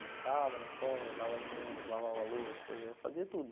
Buscava na escola, dava alimento, lavava louça, fazia tudo.